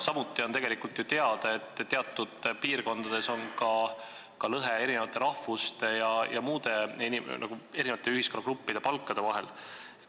Samuti on tegelikult ju teada, et teatud piirkondades on lõhe eri rahvuste ja muude ühiskonnagruppide palkade vahel.